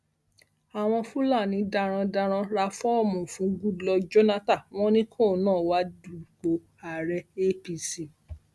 àwọn fúlàní darandaran ra fọọmù fún goodluck jonathan wọn ní kóun náà wáá dupò ààrẹ apc